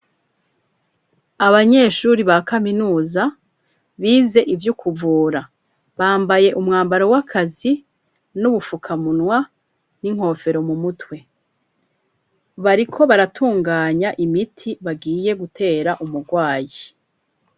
Abanyeshuri ba kaminuza bize ivy'ukuvura bambaye umwambaro w'akazi n'ubufukamunwa n'inkofero mu mutwe, bariko baratunganya imiti bagiye gutera umurwayi.